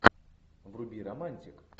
вруби романтик